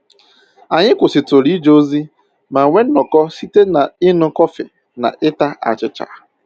Anyị kwụsịtụrụ ije ozi ma nwee nnọkọ site na iñu kọfị na ịta achịcha